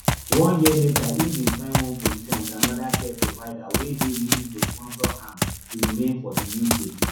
one year later im bin find one position wit anoda care provider wey dey willing to sponsor am to remain for di uk